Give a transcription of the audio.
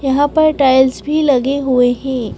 यहाँ पर टाइल्स भी लगे हुए हैं।